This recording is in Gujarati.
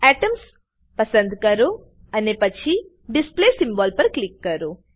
એટમ્સ પસંદ કરો અને પછી ડિસ્પ્લે સિમ્બોલ પર ક્લિક કરો